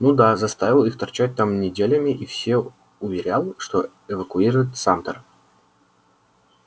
ну да заставил их торчать там неделями и все уверял что эвакуирует самтер